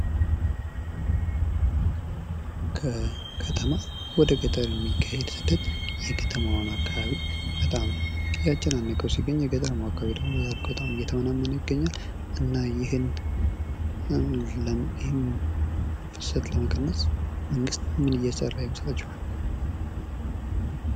ከከተማ ወደ ገጠር የሚካሄድ ፍልሰት የከተማዋን አካባቢ በጣም እያጨናነቀዉ ሲገኝ በገጠር አካባቢ ደግሞ በጣም እየተመናመነ ይገኛል። እና ይሄን ፍልሰት ለመቀነስ መንግስት ምን እየሰራ ይመስላችኋል?